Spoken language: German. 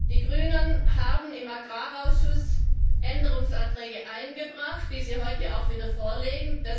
Die Grünen haben im Agrarausschuss Änderungsanträge eingebracht, die sie heute auch wieder vorlegen.